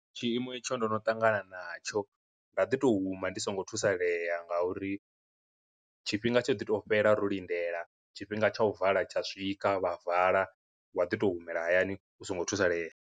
Tshiimo etsho ndo no ṱangana na tsho nda ḓi tou huma ndi songo thusalea nga uri, tshifhinga tsho ḓi to fhela ro lindela tshifhinga tsha u vala tsha swika vha vala, wa ḓi tou humela hayani u songo thusaleya.